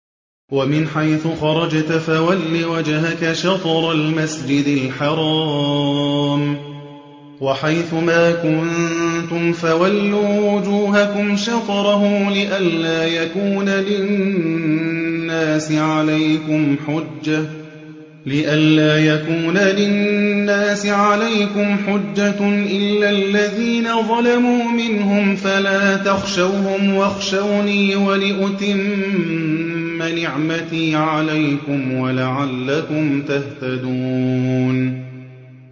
وَمِنْ حَيْثُ خَرَجْتَ فَوَلِّ وَجْهَكَ شَطْرَ الْمَسْجِدِ الْحَرَامِ ۚ وَحَيْثُ مَا كُنتُمْ فَوَلُّوا وُجُوهَكُمْ شَطْرَهُ لِئَلَّا يَكُونَ لِلنَّاسِ عَلَيْكُمْ حُجَّةٌ إِلَّا الَّذِينَ ظَلَمُوا مِنْهُمْ فَلَا تَخْشَوْهُمْ وَاخْشَوْنِي وَلِأُتِمَّ نِعْمَتِي عَلَيْكُمْ وَلَعَلَّكُمْ تَهْتَدُونَ